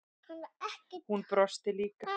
Hún brosti líka.